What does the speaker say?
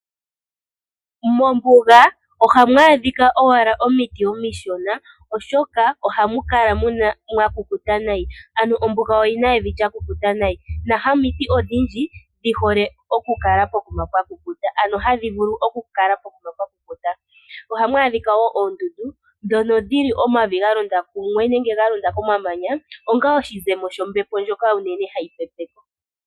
Mombuga ohamu adhika owala omiti omishona, oshoka ohamu kala mwa kukuta nayi. Ano ombuga oyi na evi lya kukuta nayi na hamiti odhindji dhihole oku kala pokuma pwa kukuta, ano hadhi vulu oku kala pokuma pwa kukuta. Ohamu adhika wo oondundu ndhono dhili omavi ga londa kumwe nenge ga londa komamanya onga oshizemo shombepo ndjoka onene hayi pepe ko.